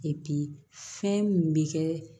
fɛn min bɛ kɛ